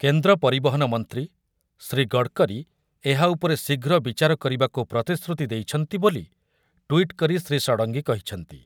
କେନ୍ଦ୍ର ପରିବହନ ମନ୍ତ୍ରୀ ଶ୍ରୀ ଗଡ଼କରୀ ଏହା ଉପରେ ଶୀଘ୍ର ବିଚାର କରିବାକୁ ପ୍ରତିଶ୍ରୁତି ଦେଇଛନ୍ତି ବୋଲି ଟୁଇଟ୍ କରି ଶ୍ରୀ ଷଡ଼ଙ୍ଗୀ କହିଛନ୍ତି ।